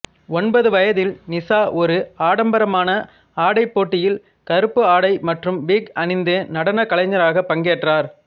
ஒன்பது வயதில் நிஷா ஒரு ஆடம்பரமான ஆடை போட்டியில் கருப்பு ஆடை மற்றும் விக் அணிந்த நடன கலைஞராக பங்கேற்றார்